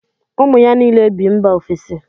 Ụmụ ya niile bi mba ofesi